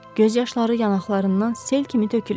Göz yaşları yanaqlarından sel kimi tökülür.